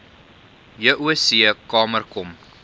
joc kamer kom